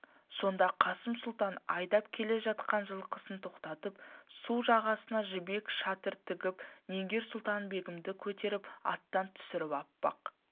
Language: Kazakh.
сонда қасым сұлтан айдап келе жатқан жылқысын тоқтатып су жағасына жібек шатыр тігіп нигер-сұлтан-бегімді көтеріп аттан түсіріп аппақ